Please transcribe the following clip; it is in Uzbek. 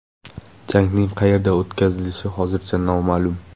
Jangning qayerda o‘tkazilishi hozircha noma’lum.